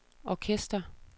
orkester